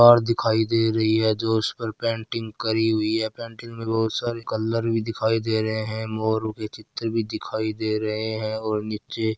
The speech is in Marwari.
पर दिखाई दे रही है जो उसपे पेंटिंग करी हुई है पेंटिंग मे बहुत सारे कलर भी दिखाई दे रहे है मोरों के चित्र भी दिखाई दे रहे है और नीचे --